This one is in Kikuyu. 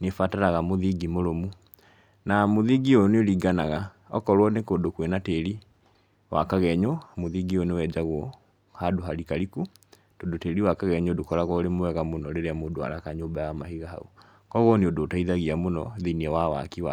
nĩ abataraga mũthingi mũrũmu, na mũthingi ũyũ nĩ ũringanaga okorwo nĩ kũndũ kwĩna tĩri wa kagenyo, mũthingi ũyũ nĩ wenjagwo handũ harikariku, tondũ tĩri wa kagenyo ndũkoragwo ũrĩ mwega mũno rĩrĩa mũndũ araka nyũmba ya mahiga hau, kũgwo nĩ ũndũ ũteithagia mũno thĩiniĩ wa waki wa...